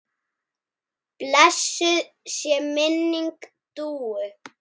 Blessuð sé minning Dúu.